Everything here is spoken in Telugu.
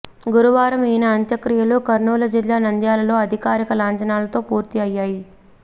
గురువారం ఈయన అంత్యక్రియలు కర్నూలు జిల్లా నంద్యాలలో అధికారిక లాంఛనాలతో పూర్తి అయ్యాయి